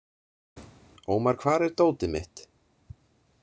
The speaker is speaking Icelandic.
Ómar, hvar er dótið mitt?